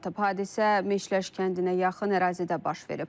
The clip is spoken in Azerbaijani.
Hadisə Meşələş kəndinə yaxın ərazidə baş verib.